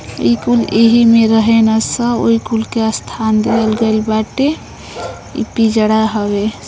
इ कुल एही में रहे ल सन। ओहि कुल के स्थान दियल गइल बाटे इ पिजड़ा हवे।